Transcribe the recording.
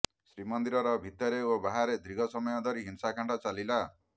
ଶ୍ରୀମନ୍ଦିର ଭିତରେ ଓ ବାହାରେ ଦୀର୍ଘ ସମୟ ଧରି ହିଂସାକାଣ୍ଡ ଚାଲିଲା